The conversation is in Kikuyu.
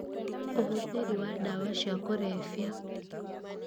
ũhũthĩri wa ndawa cia kũrebia